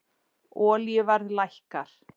Olíuverð lækkar